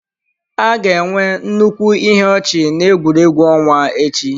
A ga-enwe nnukwu ihe ọchị na egwuregwu ọnwa echi.